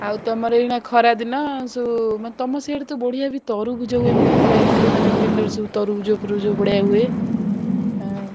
ଆଉ ତମର ଏଇଖିନା ଖରା ଦିନ ସବୁ ମାନେ ତମର ସିଆଡେ ବଢିଆ ବି ତ ତରବୁଜ ହୁଏ ମାନେ ମୁଁ ଯାଇଥିଲି ମାନେ ବିଲ ରେ ସବୁ ତରବୁଜ ବଢିଆ ସବୁ ହୁଏ ହୁଁ।